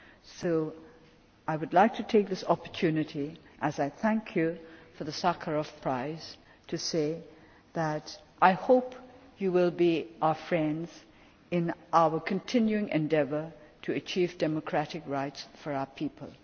So I would like to take this opportunity, as I thank you for the Sakharov Prize, to say that I hope you will be our friends in our continuing endeavour to achieve democratic rights for our